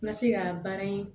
N ka se ka baara in